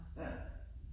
Ja